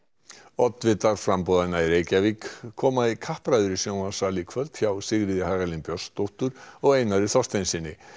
oddvitar framboðanna í Reykjavík koma í kappræður í sjónvarpssal í kvöld hjá Sigríði Hagalín Björnsdóttur og Einari Þorsteinssyni